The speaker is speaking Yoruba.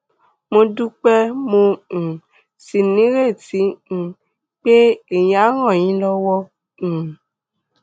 mo dúpẹ́ mo um sì nírètí um pé èyí á ràn yín lọ́wọ́ um